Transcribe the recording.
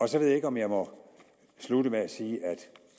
så ved jeg ikke om jeg må slutte med at sige